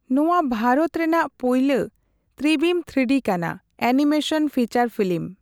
ᱱᱚᱣᱟ ᱵᱷᱟᱨᱚᱛ ᱨᱮᱱᱟᱜ ᱯᱩᱭᱞᱳ ᱿ᱛᱨᱤᱵᱤᱢ ᱓ᱰᱤ ᱠᱟᱱᱟ, ᱮᱱᱤᱢᱮᱥᱚᱱ ᱯᱷᱤᱪᱚᱨ ᱯᱷᱤᱞᱤᱢ ᱾